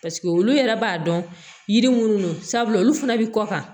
olu yɛrɛ b'a dɔn yiri minnu don sabula olu fana bɛ kɔ kan